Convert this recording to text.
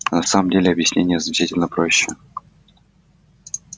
а на самом деле объяснение значительно проще